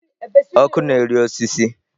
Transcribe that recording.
Ọkụ na-eri osisi.